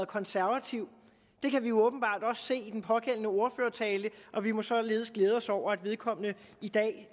konservativ det kan vi jo åbenbart også se i den pågældende ordførertale og vi må således glæde os over at vedkommende i dag